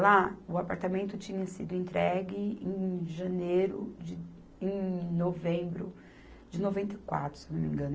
Lá, o apartamento tinha sido entregue em janeiro de, em novembro de noventa e quatro, se eu não me engano.